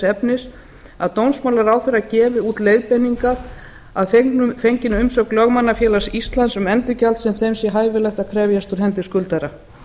efnis að dómsmálaráðherra gefi út leiðbeiningar að fenginni umsögn lögmannafélags íslands um endurgjald sem þeim sé hæfilegt að krefjast á hendi skuldara